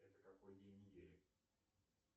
это какой день недели